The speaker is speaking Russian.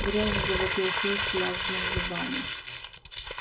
грязь завопил филч лязгнув зубами